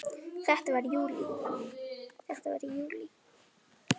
Þetta var í júlí.